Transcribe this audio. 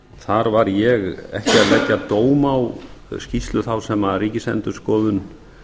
þar var ég ekki að leggja dóm á skýrslu þá sem ríkisendurskoðun